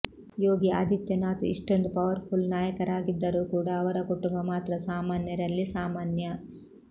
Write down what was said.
ಯೋಗಿ ಆದಿತ್ಯನಾಥ್ ಇಷ್ಟೊಂದು powerful ನಾಯಕರಾಗಿದ್ದರೂ ಕೂಡಾ ಅವರ ಕುಟುಂಬ ಮಾತ್ರ ಸಾಮಾನ್ಯರಲ್ಲಿ ಸಾಮಾನ್ಯ